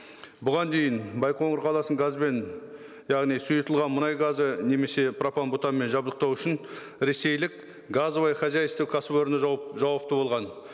бұған дейін байқоңыр қаласын газбен яғни сұйытылған мұнай газы немесе пропанбутанмен жабдықтау үшін ресейлік газовое хозяйство кәсіпорны жауапты болған